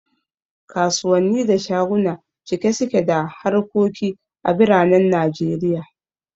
Kasuwanni da shaguna cike suke da harkoki a biranen Najeriya